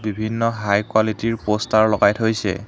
বিভিন্ন high quality ৰ poster লগাই থৈছে।